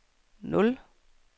nul